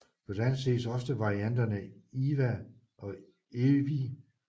På dansk ses også varianterne Ewa og Evy